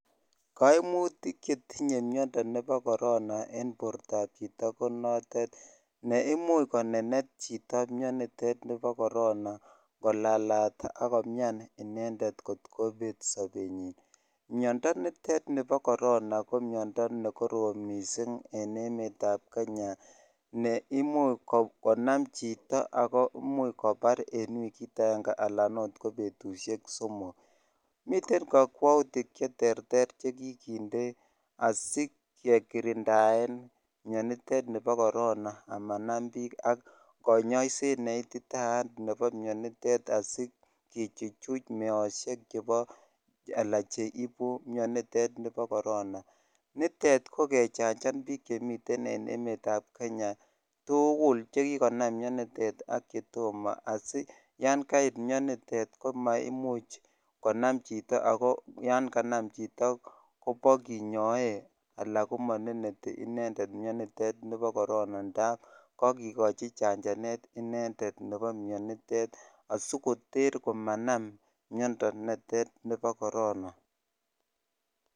Kaimutiik chetinye mindaap koronaa ak komuchii konenet chito ak kolalat miandap korona ko miandaa nekoroom missing miten kakwautiik cheterter chekikindee asikekirindaee asikichuch mianitet asimemuch konam chito asimanenet amun kakikachichananeet